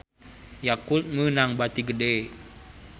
Yakult meunang bati gede